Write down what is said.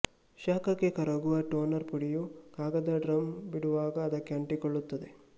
ಶಾಖಕ್ಕೆ ಕರಗುವ ಟೋನರ್ ಪುಡಿಯು ಕಾಗದ ಡ್ರಮ್ ಬಿಡುವಾಗ ಅದಕ್ಕೆ ಅಂಟಿಕೊಳ್ಳುತ್ತದೆ